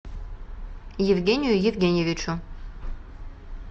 евгению евгеньевичу